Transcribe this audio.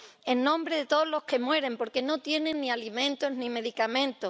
en nombre de todos los que mueren porque no tienen ni alimentos ni medicamentos.